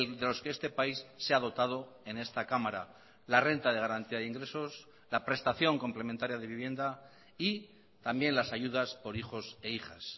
de los que este país se ha dotado en esta cámara la renta de garantía de ingresos la prestación complementaria de vivienda y también las ayudas por hijos e hijas